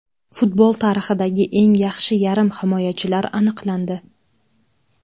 Futbol tarixidagi eng yaxshi yarim himoyachilar aniqlandi.